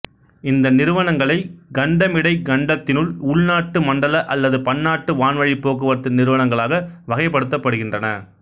இந்த நிறுவனங்களை கண்டமிடை கண்டத்தினுள் உள்நாட்டு மண்டல அல்லது பன்னாட்டு வான்வழிப் போக்குவரத்து நிறுவனங்களாக வகைப்படுத்தப்படுகின்றன